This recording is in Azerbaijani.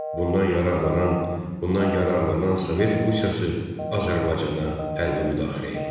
Bundan yararlanan, bundan yararlanan Sovet Rusiyası Azərbaycana hərbi müdaxilə etdi.